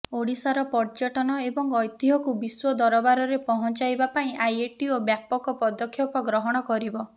ଓଡ଼ିଶାର ପର୍ଯ୍ୟଟନ ଏବଂ ଐତିହ୍ୟକୁ ବିଶ୍ୱ ଦରବାରରେ ପହଞ୍ଚାଇବା ପାଇଁ ଆଇଏଟିଓ ବ୍ୟାପକ ପଦକ୍ଷେପ ଗ୍ରହଣ କରିବ